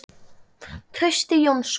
Trausti Jónsson